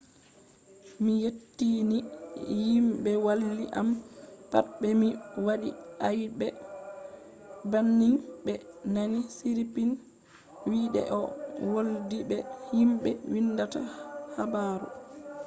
mi yetti ni himɓe walli am pat be mi waɗi aibe banning ɓe nani siripn wi de o woldi be himɓe windata habaru.